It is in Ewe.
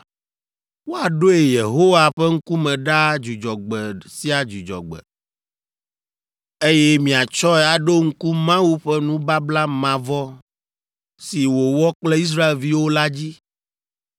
Woaɖoe Yehowa ƒe ŋkume ɖaa Dzudzɔgbe sia Dzudzɔgbe, eye miatsɔe aɖo ŋku Mawu ƒe nubabla mavɔ si wòwɔ kple Israelviwo la dzi.